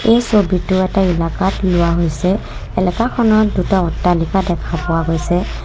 এই ছবিতো এটা ইলাকাত লোৱা হৈছে এলেকাখনৰ দুটা অট্টালিকা দেখা পোৱা গৈছে।